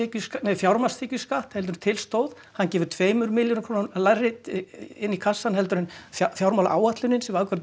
fjármagnstekjuskatt heldur en til stóð hann gefur tveimur milljörðum krónum lægra inn í kassann heldur en fjármálaáætlunin sem afgreidd